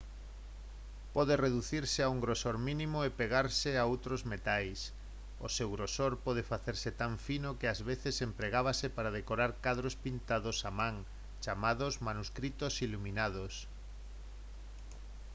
pode reducirse a un grosor mínimo e pegarse a outros metais. o seu grosor pode facerse tan fino que ás veces empregábase para decorar cadros pintados á man chamados «manuscritos iluminados»